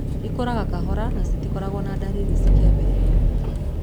Ikũraga kahora na citikoragwo na ndariri cikĩambĩrĩria.